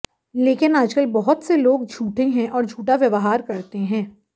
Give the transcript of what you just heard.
लेकिन आजकल बहुत से लोग झूठे हैं और झूठा व्यवहार करते हैं